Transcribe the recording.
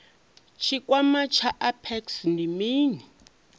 tshikwama tsha apex ndi mini